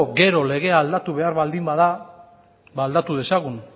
gero legea aldatu behar baldin bada aldatu dezagun